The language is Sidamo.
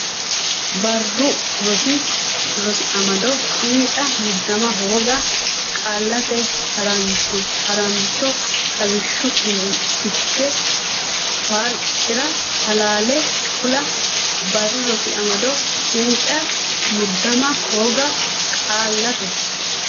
Barru Rosi Amado cinca muddama hooga Qaallate Ha rancho Xawishshu Fiche farci ra halaale kula Barru Rosi Amado cinca muddama hooga Qaallate.